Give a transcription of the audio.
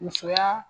Musoya